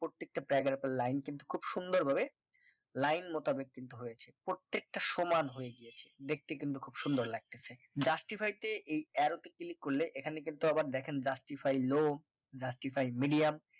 প্রত্যেকটা paragraph এর line কিন্তু খুব সুন্দর ভাবে লাইন মোতাবিক কিন্তু হয়েছে প্রত্যেকটা সমান হয়ে গিয়েছে। দেখতে কিন্তু খুব সুন্দর লাগতেছে justify তে এই arrow তে click করলে এখানে কিন্তু আবার দেখেন justify low justify medium